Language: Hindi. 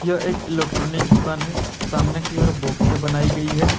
यह एक इलेक्ट्रॉनिक दुकान है सामने की ओर बॉक्स से बनाए गई है।